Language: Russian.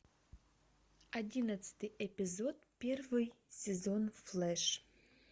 одиннадцатый эпизод первый сезон флэш